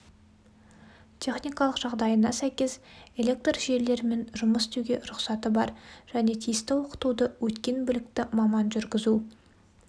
техникалық жағдайына сәйкес электржелілерімен жұмыс істеуге рұқсаты бар және тиісті оқытуды өткен білікті маман жүргізу